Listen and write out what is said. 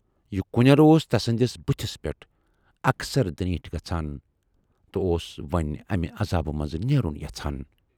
یہِ کُنٮ۪ر اوس تسٕندِس بُتھِس پٮ۪ٹھ اکثر درینٖٹھ گژھان تہٕ اوس وۅنۍ امہِ عذابہٕ منزٕ نیرُن یژھان۔